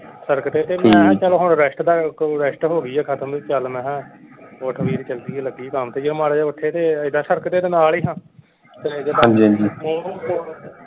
ਸੜਕ ਦੇ ਤੇ ਮੈਂ ਕਿਹਾ ਚਲੋ ਹੁਣ rest ਦਾ rest ਹੋ ਗਈ ਹੈ ਖਤਮ ਚੱਲ ਮੈਂ ਕਿਹਾ ਉੱਠ ਵੀਰ ਚੱਲੀਏ ਲਗੀਏ ਕੰਮ ਤੇ ਜਦੋ ਮਾੜਾ ਉਠੇ ਤੇ ਏਦਾਂ ਸੜਕ ਦੇ ਤੇ ਨਾਲ ਹੀ ਹਾਂ